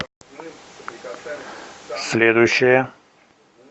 следующая